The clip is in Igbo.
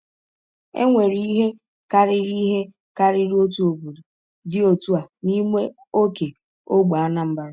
Enwere ihe karịrị ihe karịrị otu obodo dị otu a n’ime oke ógbè Anambra.